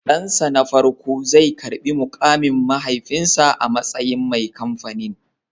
Dansa na farko zai karbi mukamin mahaifinsa a matsayin mai kamfanin